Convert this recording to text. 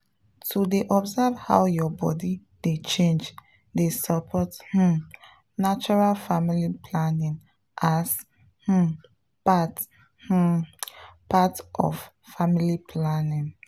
to dey observe how your body dey change dey support um natural family planning as um part um part of family planning.